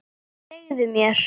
Segðu mér.